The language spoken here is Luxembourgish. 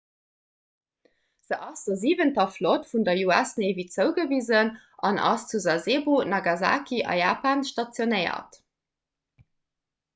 se ass der siwenter flott vun der us navy zougewisen an ass zu sasebo nagasaki a japan stationéiert